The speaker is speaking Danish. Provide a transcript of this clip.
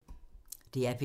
DR P3